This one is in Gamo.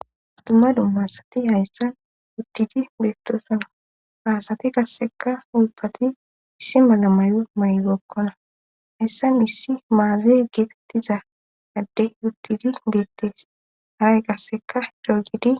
dumma dummasati hayssan yuttidi beettosona baasati gasseka ulpati issi malamayo maygeokkona hayssan issi maaze geetettiza adde yuttidi beettees hay qasseka doogidi